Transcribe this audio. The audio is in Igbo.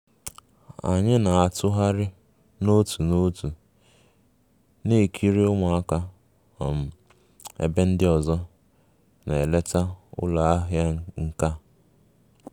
Anyị na-atụgharị n'otu n'otu na-ekiri ụmụaka um ebe ndị ọzọ na-eleta ụlọ ahịa nka